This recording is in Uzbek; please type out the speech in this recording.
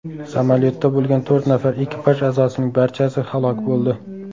Samolyotda bo‘lgan to‘rt nafar ekipaj a’zosining barchasi halok bo‘ldi.